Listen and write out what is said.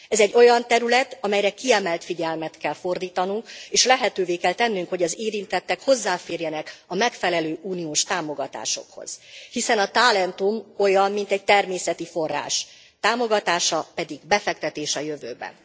Ez egy olyan terület, amelyre kiemelt figyelmet kell fordítanunk, és lehetővé kell tennünk, hogy az érintettek hozzáférjenek a megfelelő uniós támogatásokhoz, hiszen a tálentum olyan, mint egy természeti forrás, támogatása pedig befektetés a jövőbe.